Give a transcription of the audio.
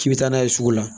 K'i bɛ taa n'a ye sugu la